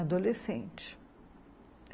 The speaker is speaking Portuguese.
Adolescente.